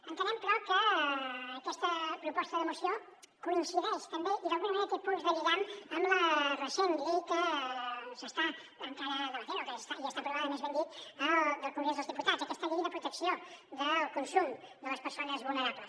entenem però que aquesta proposta de moció coincideix també i d’alguna ma·nera té punts de lligam amb la recent llei que s’està encara debatent o que ja està aprovada més ben dit del congrés dels diputats aquesta llei de protecció del con·sum de les persones vulnerables